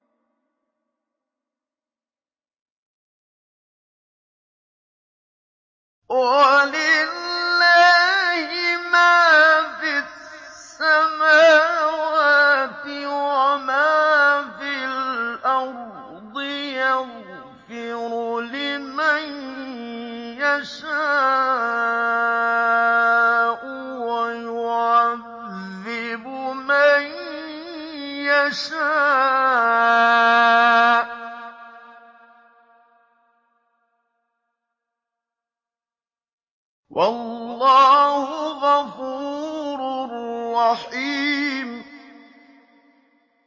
وَلِلَّهِ مَا فِي السَّمَاوَاتِ وَمَا فِي الْأَرْضِ ۚ يَغْفِرُ لِمَن يَشَاءُ وَيُعَذِّبُ مَن يَشَاءُ ۚ وَاللَّهُ غَفُورٌ رَّحِيمٌ